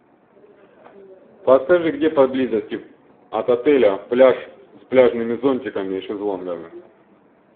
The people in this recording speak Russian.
подскажи где поблизости от отеля пляж с пляжными зонтиками и шезлонгами